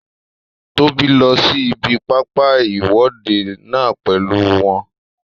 Tóbi lọ sí ibi pápá ìwọ́de náà pèlú wọn